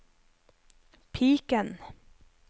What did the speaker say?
piken